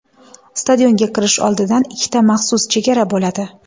Stadionga kirish oldidan ikkita maxsus chegara bo‘ladi.